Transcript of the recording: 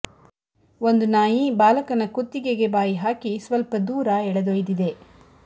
ಒಂದು ನಾಯಿ ಬಾಲಕನ ಕುತ್ತಿಗೆಗೆ ಬಾಯಿ ಹಾಕಿ ಸ್ವಲ್ಪ ದೂರ ಎಳೆದೊಯ್ದಿದೆ